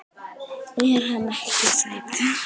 Er hann ekki sætur?